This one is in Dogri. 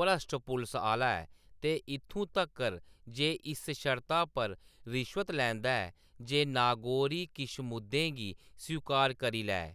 भ्रश्ट पुलस आह्‌‌‌ला ऐ ते इत्थूं तक्कर ​​जे इस शर्ता पर रिश्वत लैंदा ऐ जे नागोरी किश मुद्दें गी स्वीकार करी लैऐ।